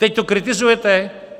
Teď to kritizujete?